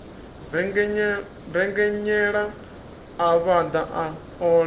rengenyela a vhaḓa a ola